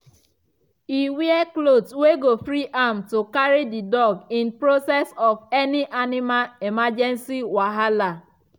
e wear cloth wey go free am to carry the dog in process of any animal emergency wahala